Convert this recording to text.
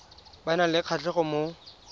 ba nang le kgatlhego mo